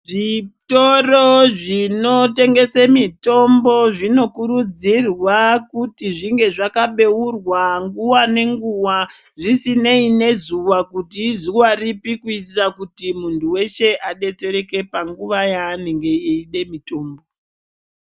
Zvitoro zvinotengese mitombo zvinokurudzirwa kuti zvinge zvakabeurwa nguva nenguva zvisinei nezuva kuti izuva ripi. Kuitira kuti muntu veshe abetsereke panguva yaanenge eide mitombo.